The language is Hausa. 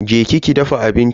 Je ki ki dafa abinci.